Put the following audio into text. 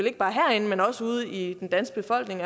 ikke bare herinde men også ude i den danske befolkning